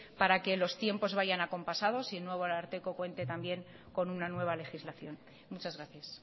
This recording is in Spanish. para que los tiempos vayan acompasados y que el nuevo ararteko cuente también con una nueva legislación muchas gracias